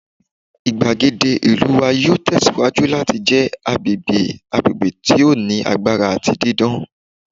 igbagede ìlú wa yoo tẹsiwaju lati jẹ agbegbe agbegbe ti o ni agbara ati didan